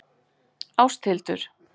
Áshildur